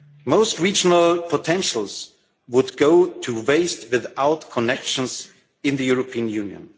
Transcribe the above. Most regional potentials would go to waste without connections in the European Union.